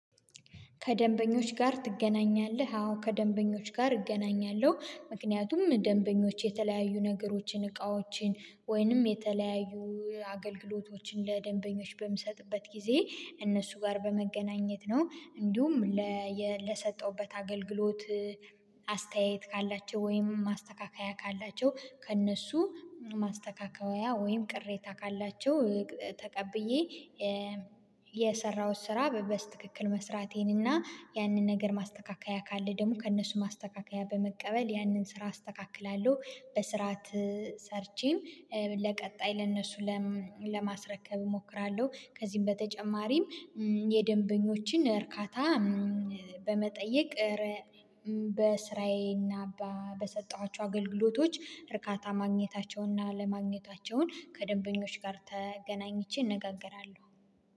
ከደንበኞች ጋር ትገናኛለህ? አዎ ከደንበኞች ጋር እገናኛለሁ ምክንያቱም ደንበኞች የተለያዩ ነገሮችን እቃዎችን ወይንም የተለያዩ አገልግሎቶችን ለደንበኞች በምሰጥበት ጊዜ እነሱ ጋር በመገናኘት ነው። እንዲሁም ለሰጠውበት አገልግሎት አስተያየት ካላቸው ወይም ማስተካከያ ካላቸው ከእነሱ ማስተካከያ ወይም ቅሬታ ካላቸው ተቀብዬ የሰራሁት ስራ በበስ ትክክል መስራቴን እና ያንን ነገር ማስተካከያ ካለ ደግሞ ከእነሱ ማስተካከያ በመቀበል ያንን ስራ አስተካክላለሁ በስርዓት ሰርቼም ለቀጣይ ለእነሱ ለማስረከብ እሞክራለሁ። ከዚህም በተጨማሪም የደንበኞችን እርካታ በመጠየቅ በስራዬና በሰጠኋቸው አገልግሎቶች እርካታ ማግኘታቸውንና አለማግኘታቸውን ከደንበኞች ጋር ተገናኝቼ እነጋገራለሁ